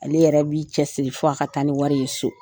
Ale yɛrɛ b'i cɛsiri f'a ka taa ni wari ye so.